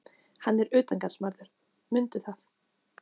Hann er utangarðsmaður, mundu það.